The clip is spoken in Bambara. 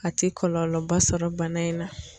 A ti kɔlɔlɔba sɔrɔ bana in na.